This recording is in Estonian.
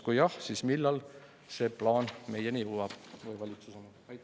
Kui jah, siis millal see plaan meieni või valitsuseni jõuab?